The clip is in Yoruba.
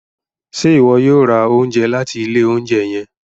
Ṣe iwọ yoo ra ounjẹ lati ile ounjẹ yẹn?